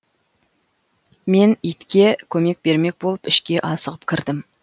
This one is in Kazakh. мен итке көмек бермек болып ішке асығып кірдім